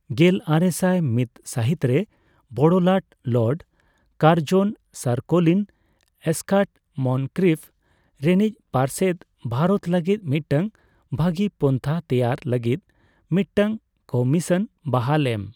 ᱜᱮᱞᱟᱨᱮᱥᱟᱭ ᱢᱤᱫ ᱥᱟᱦᱤᱛ ᱨᱮ ᱵᱚᱲᱚ ᱞᱟᱴ Lord Curzon sir Colin Scott Moncrieff ᱨᱮᱱᱤᱡ ᱯᱟᱨᱥᱮᱫ ᱵᱷᱟᱨᱚᱛ ᱞᱟᱹᱜᱤᱫ ᱢᱤᱫᱴᱟᱝ ᱵᱷᱟᱹᱜᱤ ᱯᱚᱱᱛᱷᱟ ᱛᱮᱭᱟᱨ ᱞᱟᱹᱜᱤᱫ ᱢᱤᱫᱴᱟᱝ ᱠᱚᱢᱤᱥᱚᱱ ᱵᱟᱦᱟᱞ ᱮᱢ᱾